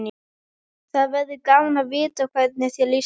Það verður gaman að vita hvernig þér líst á.